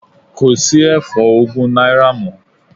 Kò sí ẹ̀fọ́ ogún náírà mọ́.